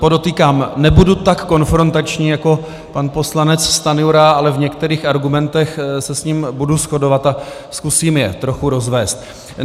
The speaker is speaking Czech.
Podotýkám, nebudu tak konfrontační jako pan poslanec Stanjura, ale v některých argumentech se s ním budu shodovat a zkusím je trochu rozvést.